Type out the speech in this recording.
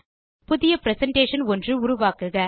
புதிய பிரசன்டேஷன் ஒன்று உருவாக்குக